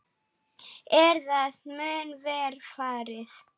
Er það mun verr farið.